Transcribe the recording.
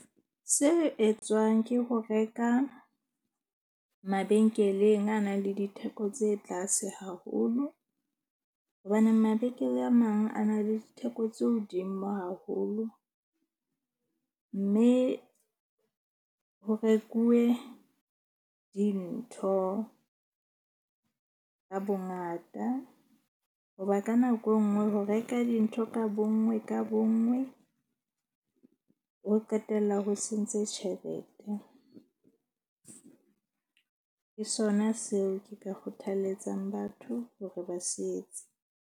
Se etswang ke ho reka mabenkeleng a na le ditheko tse tlase haholo. Hobaneng mabenkele a mang a na le ditheko tse hodimo haholo. Mme ho rekuwe dintho ka bongata, hoba ka nako e nngwe ho reka dintho ka bonngwe ka bonngwe, ho qetella ho sentse tjhelete. Ke sona seo ke ka kgothalletsang batho hore ba se etse.